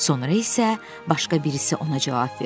Sonra isə başqa birisi ona cavab verdi.